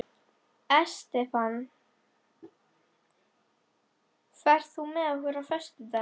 Estefan, ferð þú með okkur á föstudaginn?